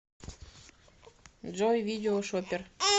джой видео шопер